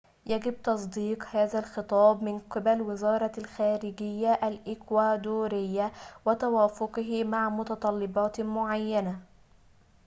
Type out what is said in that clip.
يجب تصديق هذا الخطاب من قبل وزارةِ الخارجيةِ الإكوادورية وتوافقه مع متطلباتٍ معينة